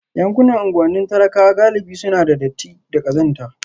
Yankunan unguwannin talakawa galibi suna da datti da ƙazanta